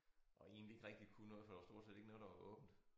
Og egentlig ikke rigtig kunne noget for der var stort set ikke noget der var åbent